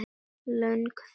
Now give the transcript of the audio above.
Löng þögn.